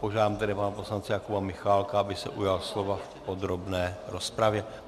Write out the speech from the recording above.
Požádám tedy pana poslance Jakuba Michálka, aby se ujal slova v podrobné rozpravě.